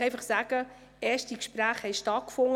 Erste Gespräche dazu haben stattgefunden.